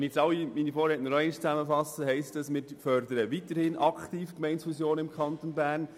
Wenn ich meine Vorredner zusammenfasse, heisst das, wir fördern weiterhin aktiv Gemeindefusionen im Kanton Bern.